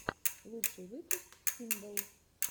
лучший выпуск хиндалл